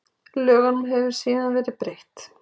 Lögunum hefur síðan verið breytt.